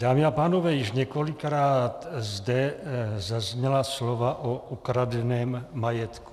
Dámy a pánové, již několikrát zde zazněla slova o ukradeném majetku.